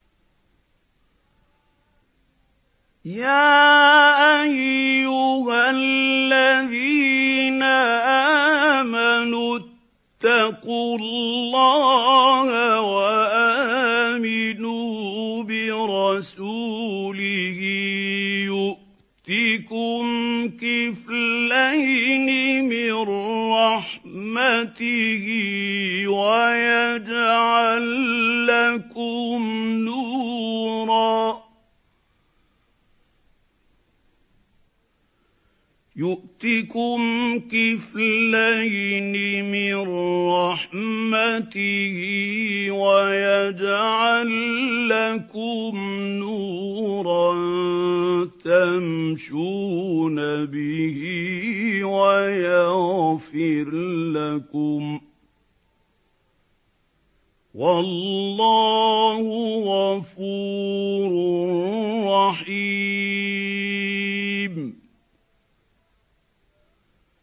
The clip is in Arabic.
يَا أَيُّهَا الَّذِينَ آمَنُوا اتَّقُوا اللَّهَ وَآمِنُوا بِرَسُولِهِ يُؤْتِكُمْ كِفْلَيْنِ مِن رَّحْمَتِهِ وَيَجْعَل لَّكُمْ نُورًا تَمْشُونَ بِهِ وَيَغْفِرْ لَكُمْ ۚ وَاللَّهُ غَفُورٌ رَّحِيمٌ